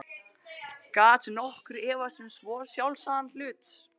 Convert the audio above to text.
Gat nokkur efast um svo sjálfsagðan hlut?